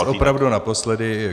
Dnes opravdu naposledy.